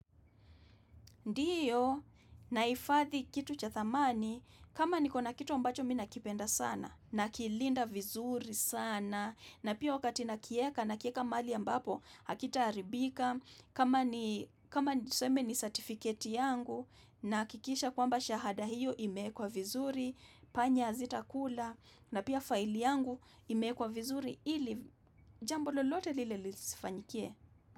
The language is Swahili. Ndiyo nahifathi kitu cha thamani, kama niko na kitu ambacho mi nakipenda sana, nakilinda vizuri sana na pia wakati nakieka, nakieka mahali ambapo, hakita haribika, kama niseme ni certificate yangu, nahakikisha kwamba shahada hiyo imeekwa vizuri, panya hazitakula, na pia file yangu imeekwa vizuri ili jambo lolote lile lisifanyikie.